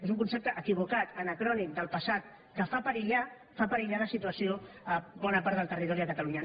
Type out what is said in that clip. és un concepte equivocat anacrònic del passat que fa perillar la situació a bona part del territori de catalunya